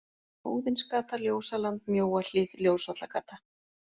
Óðinsgata, Ljósaland, Mjóahlíð, Ljósvallagata